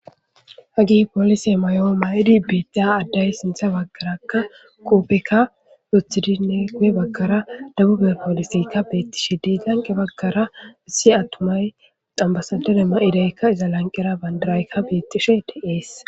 Haggeyi polliseyi mayo mayidi bettiya addeyi sinththa baggara qobbeka woththidi guye baggara debube polliseyka bettishe desi issi lanqe baggara issi attumayi ambassadere mayidayi iza lanqqera bandirayikka bettes.